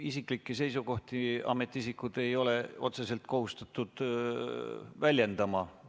Isiklikke seisukohti ametiisikud ei ole otseselt kohustatud väljendama.